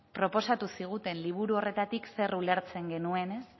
proposatu ziguten liburu horretatik zer ulertzen genuen